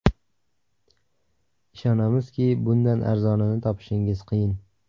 Ishonamizki, bundan arzonini topishingiz qiyin.